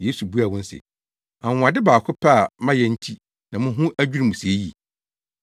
Yesu buaa wɔn se, “Anwonwade baako pɛ a mayɛ nti na mo ho adwiriw mo sɛɛ yi.